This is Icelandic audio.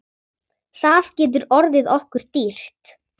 Það getur orðið okkur dýrt.